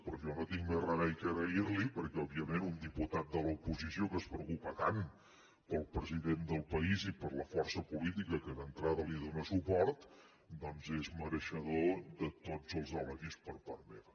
però jo no tinc més remei que agrair li ho perquè òbviament un diputat de l’oposició que es preocupa tant pel president del país i per la força política que d’entrada li dóna suport doncs és mereixedor de tots els elogis per part meva